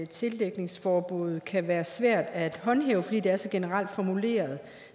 tildækningsforbuddet kan være svært at håndhæve fordi det er så generelt formuleret